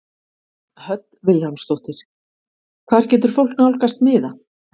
Hödd Vilhjálmsdóttir: Hvar getur fólk nálgast miða?